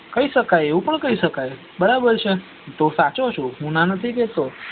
કઇ સકાય એવું પણ કઇ સકા બરાબર છ તું સાચો છ ના નથી કેતો